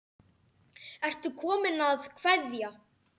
Ertu kominn að kveðja?